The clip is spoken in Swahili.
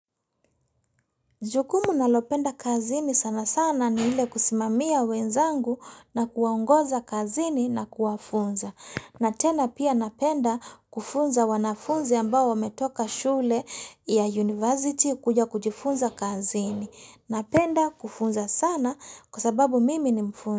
Jukumu nalopenda kazini sana sana ni ile kusimamia wenzangu na kuwaongoza kazini na kuwafunza. Na tena pia napenda kufunza wanafunzi ambao wametoka shule ya university kuja kujifunza kazini. Napenda kufunza sana kwa sababu mimi ni mfunza.